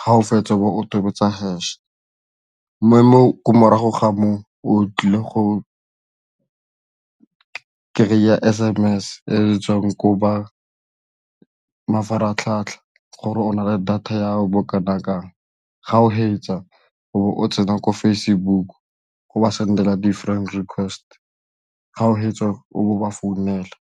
ga o fetsa o bo o tobetsa hash, ko morago ga moo o tlile go kry-eya S_M_S e tswang ko ba mafaratlhatlha gore o na le data ya bo kana kang, ga o fetsa o tsena ko Facebook o ba sendela di-friend request, ga o fetsa o ba founela.